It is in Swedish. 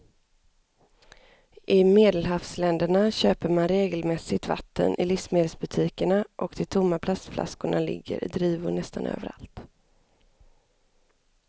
I medelhavsländerna köper man regelmässigt vatten i livsmedelsbutikerna och de tomma plastflaskorna ligger i drivor nästan överallt.